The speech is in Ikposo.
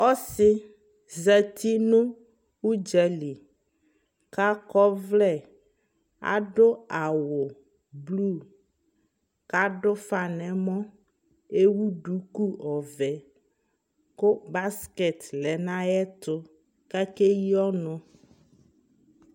ɔsii zati nʋ ʋdzali kʋ akɔ ɔvlɛ adʋ awʋ ,kʋ adʋ ʋƒa nʋ ɛmɔ, ɛwʋ dʋkʋ ɔvɛ kʋ basket lɛnʋ ayɛtʋ kʋakɛyi ɔnʋ